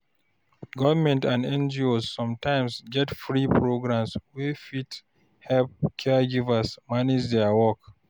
Government and NGOs sometimes get free programs wey fit help caregivers manage their work.